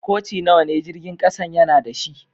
Koci nawa ne jirigin kasan ya na da shi?